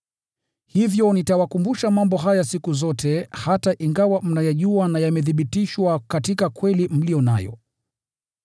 Hivyo nitawakumbusha mambo haya siku zote, hata ingawa mnayajua na mmethibitishwa katika kweli mliyo nayo.